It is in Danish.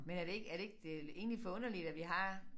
Men er det ikke er det ikke det egentlig forunderligt at vi har